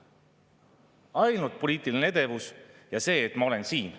Ainult poliitiline edevus – see, et ma olen siin.